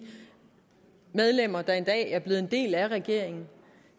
medlemmer der i dag er en del af regeringen